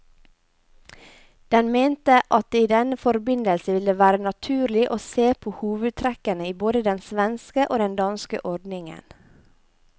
Den mente at det i denne forbindelse ville være naturlig å se på hovedtrekkene i både den svenske og den danske ordningen.